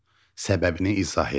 Səbəbini izah edin.